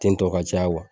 Ten tɔ ka caya